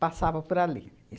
Passava por ali.